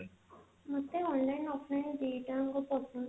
ମୋତେ online offline ଦିଟାଙ୍କ ପସନ୍ଦ